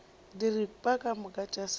diripa ka moka tša semela